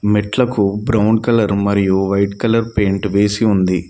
మెట్లకు brown colour మరియు white colour paint వేసి ఉంది.